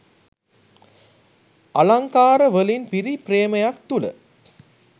අලංකාර වලින් පිරි ප්‍රේමයක් තුල